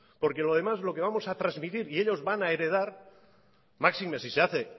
porque lo demás lo que vamos a transmitir y ellos van a heredar máxime si se hace